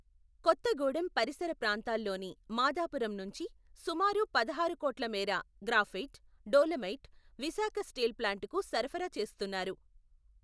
కొత్తగూడెం పరిసర ప్రాంతాల్లోని, మాధాపురం నుంచి, సుమారుపదహారు కోట్ల మేర, గ్రాఫైట్, డోలమైట్, విశాఖ స్టీల్ ప్లాంటుకు సరఫరా చేస్తున్నారు.